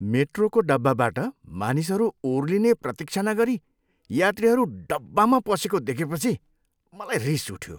मेट्रोको डब्बाबाट मानिसहरू ओर्लिने प्रतीक्षा नगरी यात्रीहरू डब्बामा पसेको देखेपछि मलाई रिस उठ्यो।